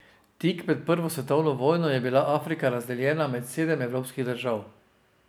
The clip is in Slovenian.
Tik pred prvo svetovno vojno je bila Afrika razdeljena med sedem evropskih držav.